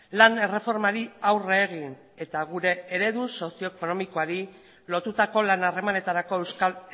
lan erreformari aurre egin eta gure eredu sozio ekonomikoari lotutako lan harremanetarako euskal